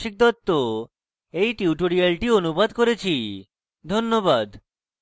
আমি কৌশিক দত্ত এই টিউটোরিয়ালটি অনুবাদ করেছি ধন্যবাদ